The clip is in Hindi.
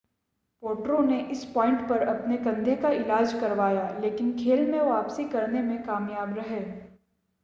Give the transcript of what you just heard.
पोट्रो ने इस पॉइंट पर अपने कंधे का इलाज करवाया लेकिन खेल में वापसी करने में कामयाब रहे